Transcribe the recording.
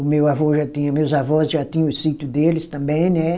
O meu avô já tinha, meus avós já tinham o sítio deles também, né?